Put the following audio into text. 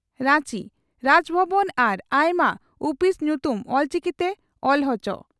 ᱨᱟᱧᱪᱤ ᱨᱟᱡᱽ ᱵᱷᱚᱵᱚᱱ ᱟᱨ ᱟᱭᱢᱟ ᱩᱯᱤᱥ ᱧᱩᱛᱩᱢ ᱚᱞᱪᱤᱠᱤᱛᱮ ᱚᱞ ᱚᱪᱚ ᱾